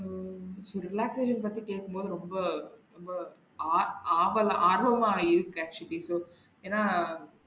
உம் so relaxation பத்தி கேக்கும் போது ரொம்ப ரொம்ப ஆ~ ஆவல் ஆர்வமா இருக்கு actually so இப்போ ஏனா?